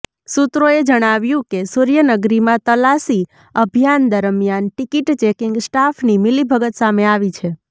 સૂત્રોએ જણાવ્યું કે સૂર્યનગરીમાં તલાશી અભિયાન દરમિયાન ટિકિટ ચેકિંગ સ્ટાફની મિલીભગત સામે આવી છે